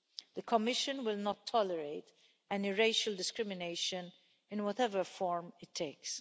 The Commission will not tolerate any racial discrimination in whatever form it takes.